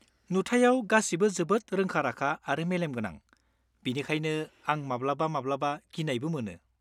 -नुथायाव गासिबो जोबोद रोंखा-राखा आरो मेलेमगोनां, बेनिखायनो आं माब्लाबा माब्लाबा गिनायबो मोनो।